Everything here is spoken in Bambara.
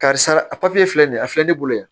Karisa a filɛ nin ye a filɛ ne bolo yan